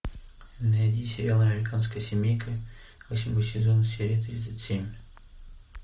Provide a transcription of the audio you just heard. найди сериал американская семейка восьмой сезон серия тридцать семь